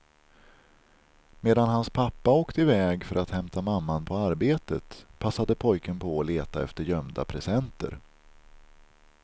Medan han pappa åkte i väg för att hämta mamman på arbetet, passade pojken på att leta efter gömda presenter.